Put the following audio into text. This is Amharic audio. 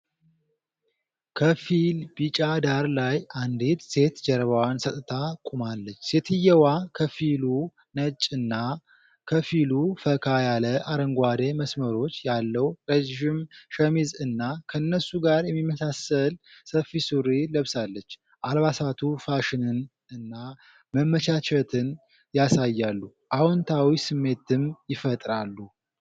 ከፊል-ቢጫ ዳራ ላይ፣ አንዲት ሴት ጀርባዋን ሰጥታ ቆማለች። ሴትየዋ ከፊሉ ነጭ እና ከፊሉ ፈካ ያለ አረንጓዴ መስመሮች ያለው ረዥም ሸሚዝ እና ከነሱ ጋር የሚመሳሰል ሰፊ ሱሪ ለብሳለች። አልባሳቱ ፋሽንን እና መመቻቸትን ያሳያሉ፣ አዎንታዊ ስሜትም ይፈጥራሉ።